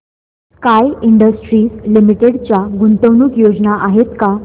sky Industries Limited च्या गुंतवणूक योजना आहेत का